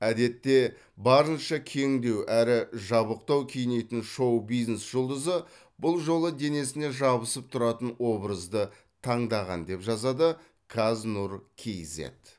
әдетте барынша кеңдеу әрі жабықтау киінетін шоу бизнес жұлдызы бұл жолы денесіне жабысып тұратын образды таңдаған деп жазады қаз нұр кейзэт